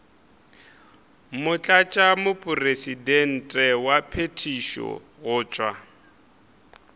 motlatšamopresidente wa phethišo go tšwa